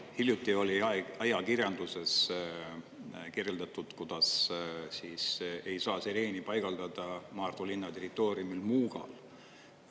Hiljuti oli ajakirjanduses kirjeldatud, kuidas siis ei saa sireeni paigaldada Maardu linna territooriumil Muugal.